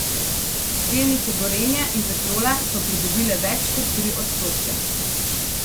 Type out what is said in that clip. Delnice Gorenja in Petrola so pridobile več kot tri odstotke.